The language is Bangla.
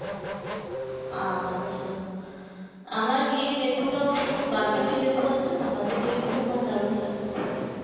আম আচ্ছা আমার ইয়ে লেবুটাও খুব বাতাবি লেবু আছে না বাতাবি লেবিটাও আমার দারুন লাগে খেতে